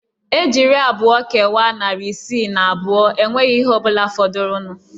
Ejiri abụọ kewaa narị isii na abụọ enweghị ihe ọ bụla fọdụrụnụ